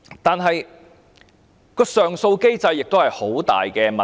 再者，上訴機制也存在很大的問題。